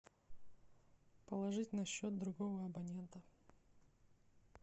положить на счет другого абонента